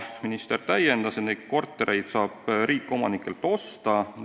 Minister täiendas, et neid kortereid saab riik omanikelt osta.